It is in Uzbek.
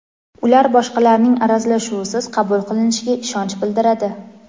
ular boshqalarning aralashuvisiz qabul qilinishiga ishonch bildiradi.